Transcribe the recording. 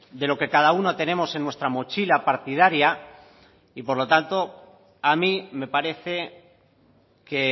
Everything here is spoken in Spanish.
de lo que cada uno tenemos en nuestra mochila partidaria y por lo tanto a mí me parece que